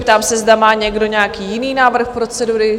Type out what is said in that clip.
Ptám se, zda má někdo nějaký jiný návrh procedury?